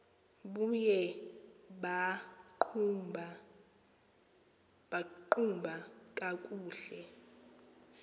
buye baqhuba kakuhle